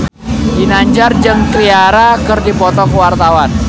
Ginanjar jeung Ciara keur dipoto ku wartawan